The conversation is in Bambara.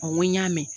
Ɔ n ko n y'a mɛn